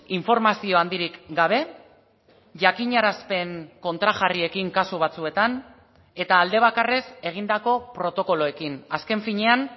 informazio handirik gabe jakinarazpen kontrajarriekin kasu batzuetan eta aldebakarrez egindako protokoloekin azken finean